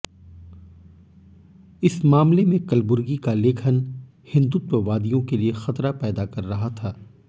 इस मामले में कलबुर्गी का लेखन हिंदुत्ववादियों के लिए खतरा पैदा कर रहा था